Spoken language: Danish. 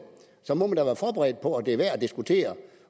så må man da være forberedt på at det er værd at diskutere